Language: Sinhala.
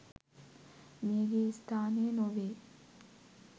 මියගිය ස්ථානය නොවේ